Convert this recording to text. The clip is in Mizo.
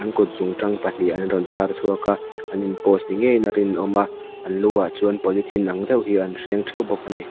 kutzungtang pahnih an rawn phar chhuak a an in post ni ngeiin a rinawm a an luah chuan polythene ang deuh hi an hreng ṭheuh bawk a ni.